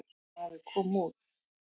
Maður kom út.